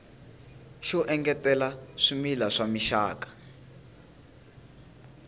xo engetela swimila swa mixaka